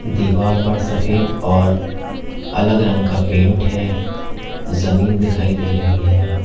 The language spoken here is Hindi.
दीवार पर सफेद और अलग रंग का पेंट है जमीन दिखाई दे रही है।